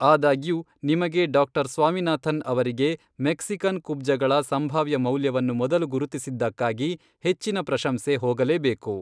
ಆದಾಗ್ಯೂ, ನಿಮಗೆ, ಡಾಕ್ಟರ್ ಸ್ವಾಮಿನಾಥನ್ ಅವರಿಗೆ , ಮೆಕ್ಸಿಕನ್ ಕುಬ್ಜಗಳ ಸಂಭಾವ್ಯ ಮೌಲ್ಯವನ್ನು ಮೊದಲು ಗುರುತಿಸಿದ್ದಕ್ಕಾಗಿ ಹೆಚ್ಚಿನ ಪ್ರಶಂಸೆ ಹೋಗಲೇಬೇಕು.